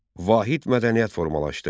Vahid mədəniyyət formalaşdı.